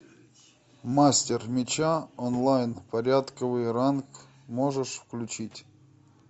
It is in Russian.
мастер меча онлайн порядковый ранг можешь включить